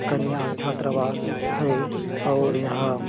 कन्या छात्रावास है और यहाँ --